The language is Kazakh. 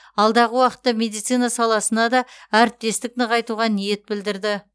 алдағы уақытта медицина саласында да әріптестік танытуға ниет білдірді